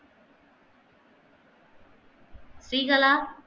Srikala